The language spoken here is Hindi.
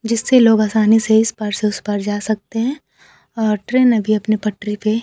जिससे लोग आसानी से इस पार से उस पार जा सकते हैं और ट्रेन अभी अपने पटरी पे--